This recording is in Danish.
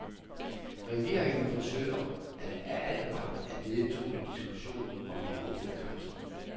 Regeringen forsøger af al magt at nedtone diskussionen om de åbne grænser.